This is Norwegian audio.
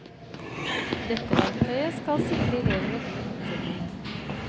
Dette verktøyet skal sikre elever god oppfølging.